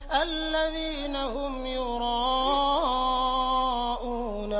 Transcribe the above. الَّذِينَ هُمْ يُرَاءُونَ